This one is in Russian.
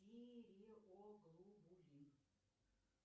тиреоглобулин